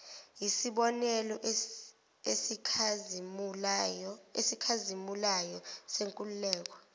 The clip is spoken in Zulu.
yisibonelo esikhazimulayo senkululeko